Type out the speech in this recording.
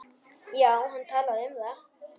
Já, hann talaði um það.